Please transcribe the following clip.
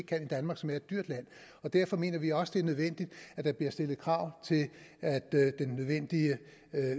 kan i danmark som er et dyrt land derfor mener vi også det er nødvendigt at der bliver stillet krav til at den nødvendige